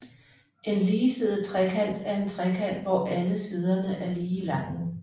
En ligesidet trekant er en trekant hvor alle siderne er lige lange